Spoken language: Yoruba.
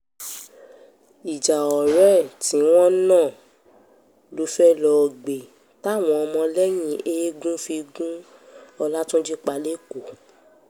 ìjà ọ̀rẹ́ ẹ̀ tí wọ́n nà ló fẹ́ẹ́ lọ́ọ́ gbé táwọn ọmọlẹ́yìn eegun fi gun ọlátúnji pa lẹ́kọ̀ọ́